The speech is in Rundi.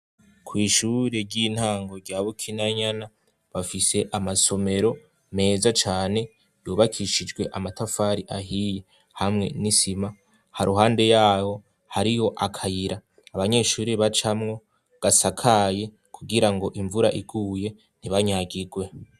kw' ishure ry'intango rya bukinanyana bafise amasomero meza cane yubakishijwe amatafari ahiye hamwe n'isima ha ruhande yabo hariho akayira abanyeshuri bacamwo gasakaye kugira ngo imvura iguye ntibanyagigwe